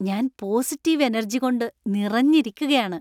ഞാൻ positive energy കൊണ്ട് നിറഞ്ഞിരിക്കുകയാണ്.